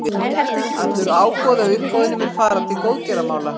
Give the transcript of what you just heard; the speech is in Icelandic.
Allur ágóði af uppboðinu mun fara til góðgerðamála.